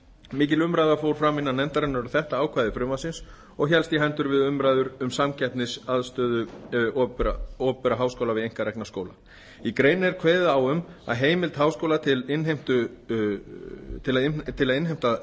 mikil umræða fór fram innan nefndarinnar um þetta ákvæði frumvarpsins og hélst í hendur við umræðu um samkeppnisaðstöðu opinberra háskóla við einkarekna háskóla í greininni er kveðið á um heimild háskóla til að innheimta